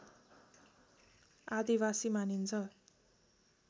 आदिवासी मानिन्छ